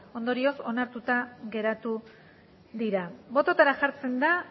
ondorioz onartuta geratu dira bototara jartzen da